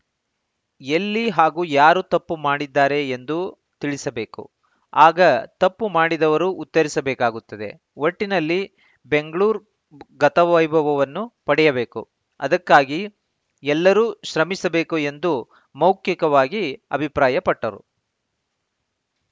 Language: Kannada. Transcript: ಎಲ್ಲಿ ಹಾಗೂ ಯಾರು ತಪ್ಪು ಮಾಡಿದ್ದಾರೆ ಎಂದು ತಿಳಿಸಬೇಕು ಆಗ ತಪ್ಪು ಮಾಡಿದವರು ಉತ್ತರಿಸಬೇಕಾಗುತ್ತದೆ ಒಟ್ಟಿನಲ್ಲಿ ಬೆಂಗಳೂರು ಗತವೈಭವವನ್ನು ಪಡೆಯಬೇಕು ಅದಕ್ಕಾಗಿ ಎಲ್ಲರೂ ಶ್ರಮಿಸಬೇಕು ಎಂದು ಮೌಖಿಕವಾಗಿ ಅಭಿಪ್ರಾಯಪಟ್ಟರು